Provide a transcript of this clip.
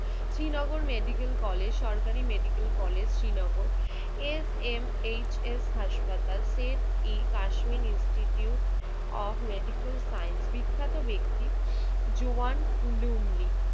Srinagar medical college, সরকারি medical college Srinagar, S M H S হাসপাতাল, সেন্ট ই Kashmir institute of medical science. বিখ্যাত ব্যাক্তি, জোয়ান লুমলি